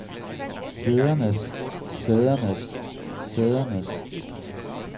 sædernes sædernes sædernes